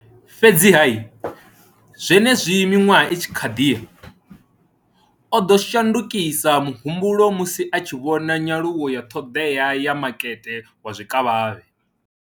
Fhedziha, zwenezwi miṅwaha i tshi khou ḓi ya, o ḓo shandukisa muhumbulo musi a tshi vhona nyaluwo ya ṱhoḓea ya makete wa zwikavhavhe.